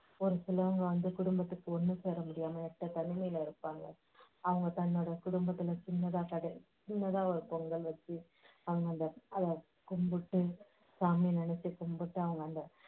ஒரு சிலவங்க வந்து குடும்பத்துக்கு ஒண்ணு சேர முடியாம எட்ட தனிமையில இருப்பாங்க. அவங்க தன்னோட குடும்பத்துல சின்னதா ச~ சின்னதா ஒரு பொங்கல் வெச்சு அவங்க அதை அதை கும்பிட்டு சாமியை நினைச்சு கும்பிட்டு அவங்க அந்த